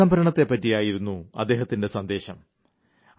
ജലസംരക്ഷണത്തെ പറ്റിയായിരുന്നു അദ്ദേഹത്തിന്റെ സന്ദേശം